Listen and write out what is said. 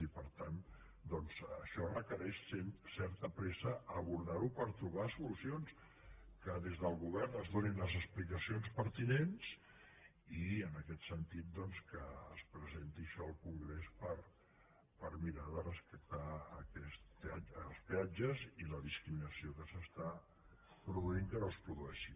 i per tant doncs això requereix certa pressa abordar ho per trobar solucions que des del govern es donin les explicacions pertinents i en aquest sentit doncs que es presenti això al congrés per mirar de rescatar els peatges i la discriminació que s’està produint que no es produeixi